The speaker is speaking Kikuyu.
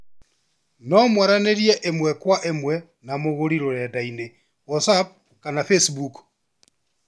No mwaranĩrie ĩmwe kwa ĩmwe na mũgũri rũrenda-inĩ Whatsapp kana Facebook